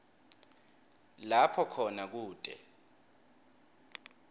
lapho khona kute